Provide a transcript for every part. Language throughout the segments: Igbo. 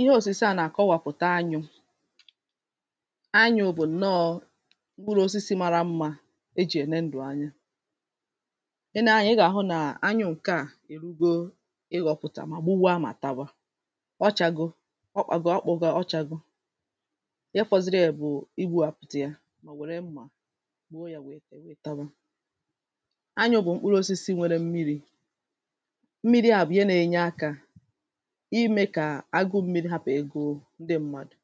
ihe òsìse à na-àkọwàpụ̀ta anyụ̇ anyụ̇ bụ̀ nnọọ̇ mkpụrụosisi mara mmȧ ejì ène ndụ̀ anya i nee anyȧ ị gà-àhụ nà anyụ ǹke à èrugo ịhọ̇pụ̀tà mà gbuwaa mà tawa ọ chȧgo, ọ kpȧgo, ọ kpọ̇go, ọ chȧgo ị fọ̇ziri è bụ̀ i gbu̇ àpụ̀tà ya mà ò wère mmà gbuo yȧ wèe kà èwe tawa anyụ̇ bụ̀ mkpụrụosisi nwere mmiri̇ mmiri à bụ̀ ihe nȧ-ėnyė akȧ ǹdị m̀madụ̇,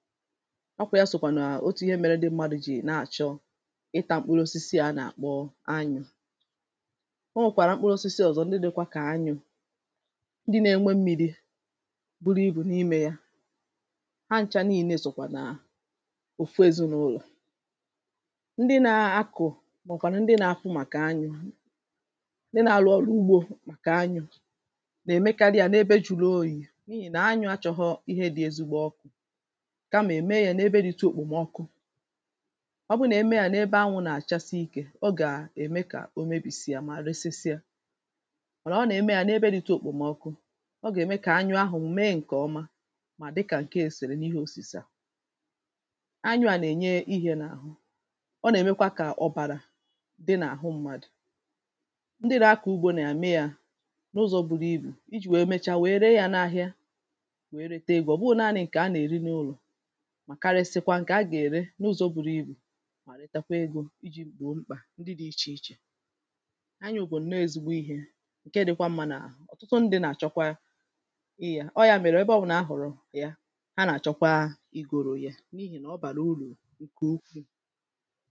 ọ kwà ya sòkwà nà otu ihe mere ndị mmadụ̇ jì na-achọ ịtȧ m̀kpụrụ osisi à nà-àkpọ anyụ̇ o nwèkwàrà m̀kpụrụ osisi ọ̀zọ ndị dị̇kwa kà anyụ̇ ndị na-enwe m̀mìrì buru ibù n’imė ya ha ncha nii̇nė sòkwà nàà òfu ezinàụlọ̀ ndị nȧ-akụ̀ màọ̀bụ̀kwàrà ndị nȧ-ahụ màkà anyụ̇ ndị nȧ-arụ ọrụ ugbȯ màkà anyụ̇ nà-èmekarị yȧ n’ebe ju̇ru̇ oyi̇ nà anyụ̇ achọghọ̇ ihe dị̇ ezigbo ọkụ̇ kamà è mee yȧ n’ebe dị̇tụ òkpòmọkụ ọ bụrụ nà e mee yȧ n’ebe anwụ̇ nà-àchasị ikė ọ gà-ème kà o mebìsịa mà resisịa mànà ọ nà-ème yȧ n’ebe dị̇tụ òkpòmọkụ ọ gà-ème kà anyụ̇ ahụ̀ mee ǹkè ọma mà dịkà ǹke ga-esère n’ihe òsìsè à anyụ̇ à nà-ènye ihė n’àhụ ọ nà-èmekwa kà ọ̀bàrà dị n’àhụ mmadụ̀ ndị nȧ-akọ ugbȯ nà-ème yȧ n’ụzọ̇ buru ibù iji̇ wèe mecha wèe ree yȧ n’ahịa wèe rete egȯ, ọ̀ bụhụ̇ naȧnị ǹkè a nà-èri n’ụlọ̀, mà karịsịkwa ǹkè a gà-ère n’ụzọ̇ buru ibù mà retekwa egȯ iji̇ gbòo mkpà ndị dị̇ ichè ichè anyụ̇ bụ̀ ǹnọọ̇ ezigbo ihe nke dị̇kwa mmȧ nà, ọ̀tụtụ ndị̇ nà-àchọkwa ịyȧ, ọ yȧ mèrè ebe ọ bụnà a hụ̀rụ̀ ya ha nà-àchọkwaa igȯro ha n’ihì nà ọ bàrà urù ǹkè ukwuù